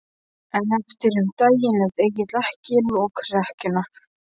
En eftir um daginn lét Egill ekki upp lokrekkjuna.